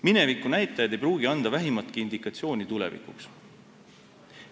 Minevikunäitajad ei pruugi anda vähimatki indikatsiooni tulevikuks.